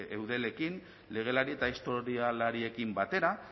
eudelekin legelari eta historialariekin batera